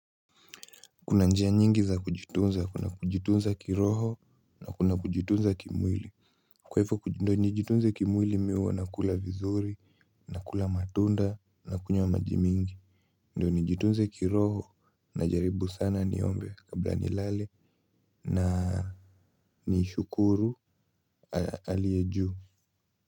Kuna njia nyingi za kujitunza kuna kujitunza kiroho na kuna kujitunza kimwili. Kwa hivyo ndio nijitunze kimwili mimi huwa nakula vizuri nakula matunda nakunywa maji mingi. Ndiyo nijitunze kiroho najaribu sana niombe kabla nilale na nishukuru aliye juu.